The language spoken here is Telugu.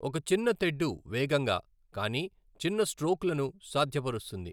ఒక చిన్న తెడ్డు వేగంగా, కానీ చిన్న స్ట్రోక్లను సాధ్యపరుస్తుంది.